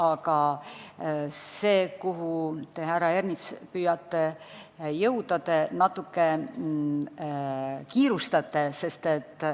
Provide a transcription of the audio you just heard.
Aga selle koha pealt, kuhu te, härra Ernits, jõuda püüate, te natuke kiirustate.